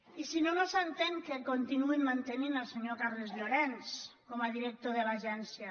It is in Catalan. i si no no s’entén que continuïn mantenint el senyor carles llorens com a director de l’agència